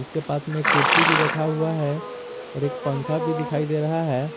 के पास में एक कुर्सी भी रखा हुआ है और एक पंखा भी दिखाई दे रहा है।